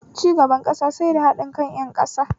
Cigaban ƙasa sai da haɗin kan ƴan ƙasa